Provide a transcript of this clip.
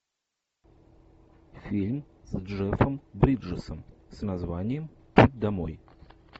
фильм с джеффом бриджесом с названием путь домой